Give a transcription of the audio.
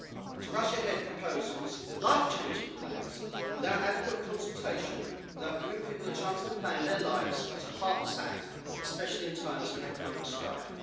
To rush ahead proposals life-changing plans without adequate consultation and without giving people a chance to plan their lives was a heartless act, especially in times of economic strife.